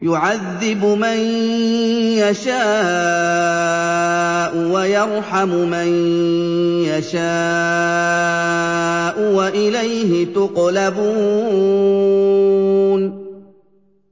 يُعَذِّبُ مَن يَشَاءُ وَيَرْحَمُ مَن يَشَاءُ ۖ وَإِلَيْهِ تُقْلَبُونَ